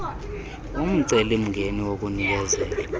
umceli mngeni wokunikezela